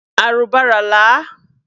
Arụbara laa!